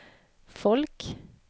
folk